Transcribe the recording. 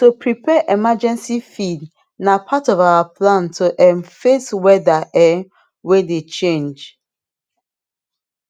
to prepare emergency feed na part of our plan to um face weather um way dey change